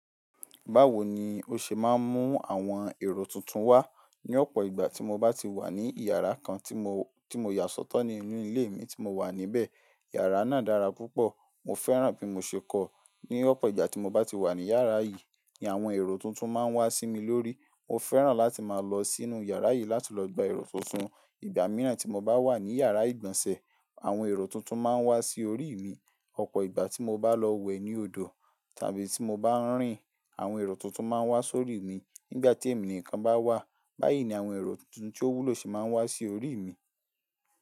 Báwo ni ó ṣe máa ń mú àwọn èrò tuntun wá? Ni ọ̀pọ̀ ìgbà tí mo bá ti wà ní yàrá kan tí mo, tí mo yà sọ́tọ̀ ní inú ilé mi tí mo wà níbẹ̀. Yàrá náà dára púpọ̀, mo fẹ́ràn bí mo ṣe kọ̀. Ni ọ̀pọ̀ ìgbà tí mo bá ti wà ní yàrá yìí ni àwọn èrò tuntun máa ń wá sí mi lórí. Mo fẹ́ràn láti máa lọ sínú yàrá yìí láti lọ gba èrò tuntun. Ìgbà mìíràn tí mo bá wà ní yàrá ìgbọ̀nsẹ̀, àwọn èrò tuntun máa n wá sí orí ì mi. Ọ̀pọ̀ ìgbà tí mo bá lọ wẹ̀ ní odò tàbí tí mo bá ń rìn, àwọn èrò tuntun máa n wá sórí mi. Nígbà tí èmi nìkan bá wà, báyìí ni àwọn èrò tuntun tí ó wúlò se máa n wá sí orí ì mi.